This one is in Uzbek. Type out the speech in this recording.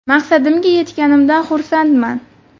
Maqsadimga yetganimdan xursandman.